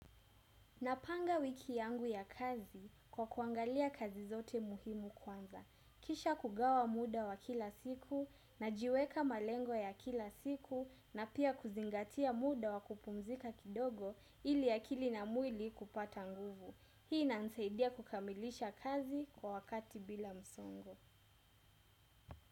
Napanga wiki yangu ya kazi kwa kuangalia kazi zote muhimu kwanza. Kisha kugawa muda wa kila siku, najiweka malengo ya kila siku na pia kuzingatia muda wa kupumzika kidogo ili akili na mwili kupata nguvu. Hii inanisaidia kukamilisha kazi kwa wakati bila msongo.